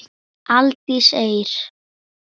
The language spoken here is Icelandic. Hvernig lýst Alfreð á það?